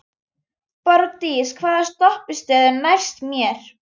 Borgdís, hvaða stoppistöð er næst mér?